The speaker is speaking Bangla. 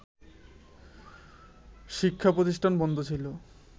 শিক্ষা প্রতিষ্ঠান বন্ধ ছিল